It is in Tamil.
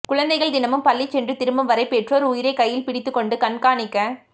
குழந்தைகள் தினமும் பள்ளி சென்று திரும்பும் வரை பெற்றோர் உயிரை கையில் பிடித்துக் கொண்டு கண்காணிக்க